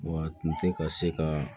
Wa tun tɛ ka se ka